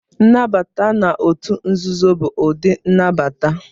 Nnabata na otu nzuzo bụ ụdị nnabata.